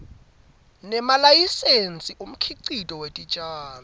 nemalayisensi umkhicito wetitjalo